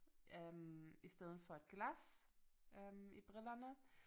Øh i stedet for et glas øh i brillerne